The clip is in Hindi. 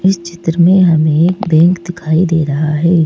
इस चित्र में हमें एक बेंक दिखाई दे रहा है।